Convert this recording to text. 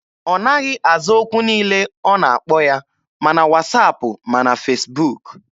Ọ naghị aza okwu niile ọ na-akpọ ya, ma na wasaapụ ma na Fesbuk.